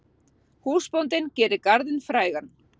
Húsbóndinn gerir garðinn frægan.